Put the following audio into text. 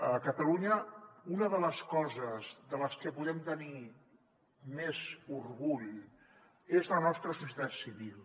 a catalunya una de les coses de les que podem tenir més orgull és de la nostra societat civil